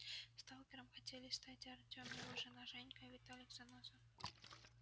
сталкером хотели стать и артём и его жена женька и виталик заноза